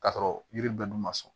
K'a sɔrɔ yiri bɛɛ dun ma sɔn